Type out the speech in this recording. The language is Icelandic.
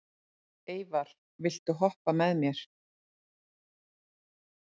Eyvar, viltu hoppa með mér?